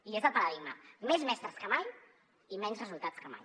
i és el paradigma més mestres que mai i menys resultats que mai